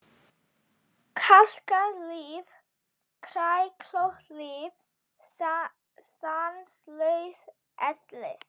Kalkað líf, kræklótt líf, stanslaus elli.